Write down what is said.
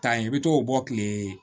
Taa ye i bɛ t'o bɔ tile